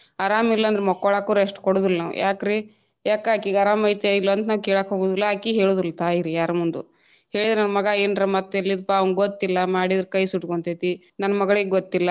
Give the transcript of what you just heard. ಆರಾಮ್ ಇಲ್ಲಾಂದ್ರುನು ಮಕ್ಕೊಳಾಕು rest ಕೊಡುದಿಲ್ಲಾ ನಾವ ಯಾಕ್ರಿ ಯಾಕ ಅಕಿಗೇ ಆರಾಮ ಐತೆ ಇಲ್ಲೊ ಅಂತ ನಾವ ಕೇಳಾಕ ಹೋಗುದಿಲ್ಲ ಅಕಿ ಹೇಳುದಿಲ್ಲಾ ತಾಯಿ ಯಾರ ಮುಂದು ಹೇಳಿದ್ರ ನನ್ ಮಗ ಏನರ ಮತ್ತ ಎಲ್ಲಿದ ಪಾ ಅವಂಗ ಗೊತ್ತಿಲ್ಲಾ ಮಾಡಿದ್ರ ಕೈ ಸುಟ್ಟಗೊಂತೇತಿ ನನ್ ಮಗಳಿಗ ಗೊತ್ತಿಲ್ಲಾ.